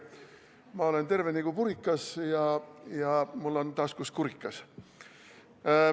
Ma olen terve nagu purikas ja mul on taskus kurikas.